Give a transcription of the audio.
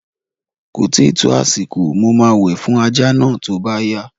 Ko tíì tó àsìkò, mo máa wẹ̀ fún ajá náà tó bá yá